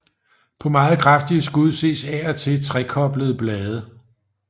På meget kraftige skud ses af og til trekoblede blade